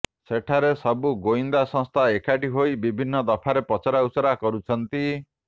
ସେଠାରେ ସବୁ ଗୋଇନ୍ଦା ସଂସ୍ଥା ଏକାଠି ହୋଇ ବିଭିନ୍ନ ଦଫାରେ ପଚରାଉଚରା କରୁଛନ୍ତି